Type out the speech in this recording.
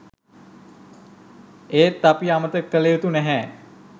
ඒත් අපි අමතක කල යුතු නැහැ